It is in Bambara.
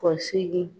Kɔsigi